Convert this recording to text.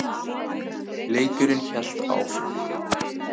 Leikurinn hélt áfram.